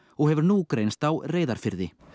og hefur nú greinst á Reyðarfirði